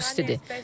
Burda çox istidir.